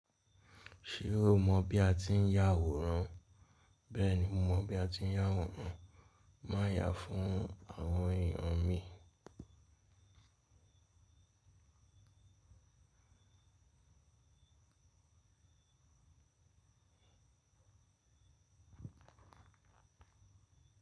Ṣé o mọ bí a ti ń ya àwòrán? Bẹ́ẹ̀ni mo mọ bí a ti ń ya àwòrán. Má ya fún àwọn èèyàn mi.